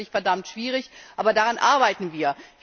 Das ist natürlich verdammt schwierig, aber daran arbeiten wir.